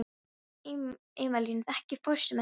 Emilíana, ekki fórstu með þeim?